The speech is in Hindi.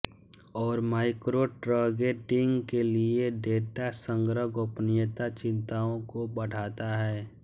और माइक्रोट्रगेटिंग के लिए डेटा संग्रह गोपनीयता चिंताओं को बढ़ाता है